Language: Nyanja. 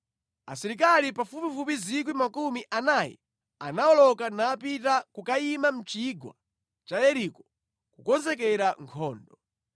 Asilikali pafupifupi 40,000 anawoloka napita kukayima mʼchigwa cha Yeriko kukonzekera nkhondo.